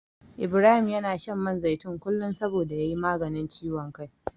Ibrahim yana shan man zaitun kullum saboda ya yi maganin ciwon kai.